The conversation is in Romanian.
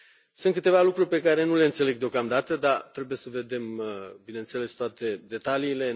Sunt câteva lucruri pe care nu le înțeleg deocamdată, dar trebuie să vedem, bineînțeles, toate detaliile.